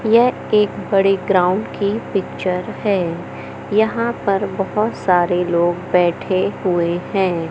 यह एक बड़े ग्राउंड की पिक्चर है यहां पर बहोत सारे लोग बैठे हुए हैं।